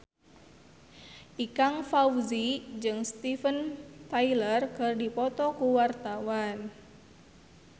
Ikang Fawzi jeung Steven Tyler keur dipoto ku wartawan